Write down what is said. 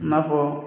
I n'a fɔ